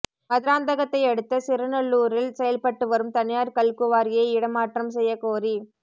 மதுராந்தகத்தை அடுத்த சிறுநல்லூரில் செயல்பட்டுவரும் தனியாா் கல்குவாரியை இடமாற்றம் செய்யக் கோரி